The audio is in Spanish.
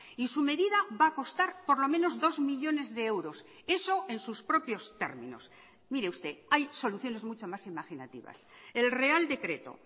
y su medida va a costar por lo menos dos millónes de euros eso en sus propios términos mire usted hay soluciones mucho más imaginativas el real decreto